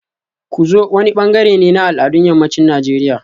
Ku zo wani bangare ne na al'adun yammacin Najeriya